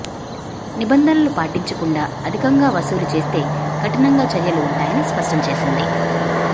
నిబంధనలు పాటించకుండా అధికంగా వసూలు చేస్తే కఠినంగా చర్యలు ఉంటాయని స్పష్టం చేసింది